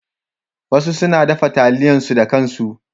Wasu suna dafa taliya su da kan su.